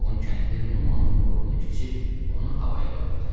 Yoğun kəndir Numanın boynuna keçib onu havaya qaldırdı.